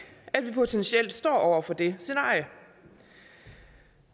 at vi potentielt står over for det scenarie